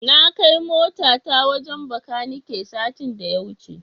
Na kai motata wajen Bakanike satin da ya wuce.